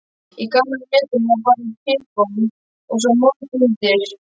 Í gamla hlutanum var bara trégólf og svo mold undir.